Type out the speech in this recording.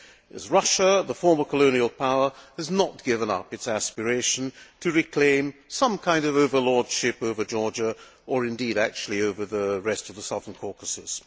as Russia, the former colonial power, has not given up its aspiration to reclaim some kind of overlordship over Georgia or, indeed, over the rest of the Southern Caucasus.